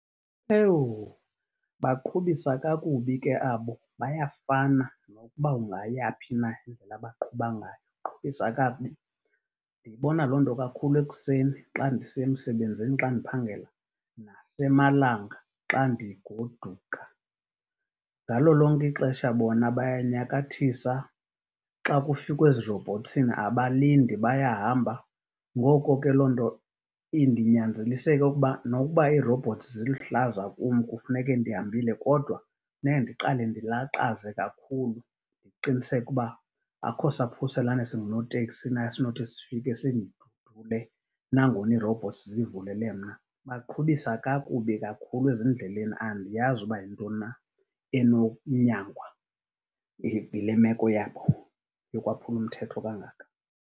Baqhubisa kakubi ke abo. Bayafana, nokuba ungaya phi na indlela abaqhuba ngayo. Baqhubisa kakubi. Ndiyibona loo nto kakhulu ekuseni xa ndisiya emsebenzini xa ndiphangela nasemalanga xa ndigoduka. Ngalo lonke ixesha bona bayanyakathisa. Xa kufikwa ezirobhothsini abalindi bayahamba. Ngoko ke loo nto indinyanzelise okokuba nokuba iirrobhothsi ziluhlaza kum, kufuneke ndihambile kodwa funeka ndiqale ndilaqaze kakhulu qiniseka uba akho saphuselane singunoteksi na esinothi sifike sindidudule nangona iirobhothsi zivulele mna. Baqhubisa kakubi kakhulu ezindleleni. Andiyazi uba yintoni na enonyangwa yile meko yabo yokwaphula umthetho kangaka.